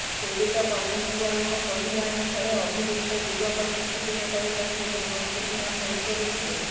ପୀଡିତ କନଷ୍ଟେବଲଙ୍କ କହିବା ଅନୁସାରେ ଅଭିଯୁକ୍ତ ଯୁବକ କିଛିଦିନ ତଳେ ତାଙ୍କୁ ଧମକପୂର୍ଣ୍ଣ ଫୋନ କରିଥିଲେ